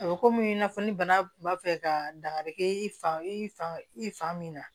A bɛ komi i n'a fɔ ni bana kun b'a fɛ ka dankari kɛ i fan i fa i fa min na